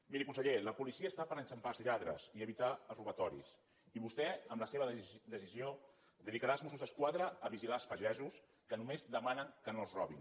miri conseller la policia està per enxampar els lladres i evitar els robatoris i vostè amb la seva decisió dedicarà els mossos d’esquadra a vigilar els pagesos que només demanen que no els robin